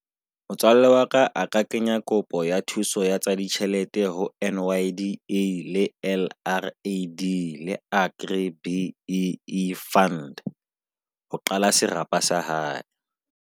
Motswalle wa ka a ka kenya kopo ya thuso ya tsa ditjhelete ho N_Y_D_E le L_R_A_D le Agri B_E_E fund ho qala serapa sa hae.